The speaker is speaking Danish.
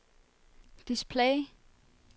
display